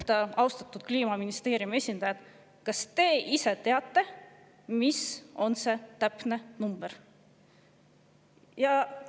Ma küsisin: "Austatud Kliimaministeeriumi esindajad, kas te ise teate, mis on see täpne number?